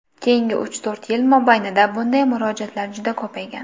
Keyingi uch-to‘rt yil mobaynida bunday murojaatlar juda ko‘paygan.